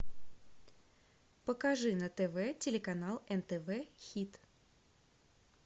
покажи на тв телеканал нтв хит